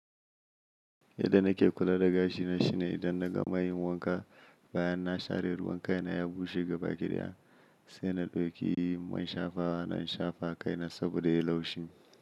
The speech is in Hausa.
Yadda nake kula da gashi na shine idan na gama yin wanka, bayan na share ruwan kai na ya bushe gaba ɗaya sai na ɗauki man shafawana in shafa a kai na saboda ya yi laushi.